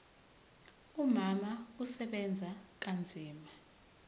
umama usebenza kanzima